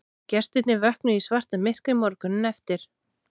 Gestirnir vöknuðu í svartamyrkri morguninn eftir